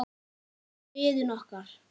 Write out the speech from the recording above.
Elsku Iðunn okkar.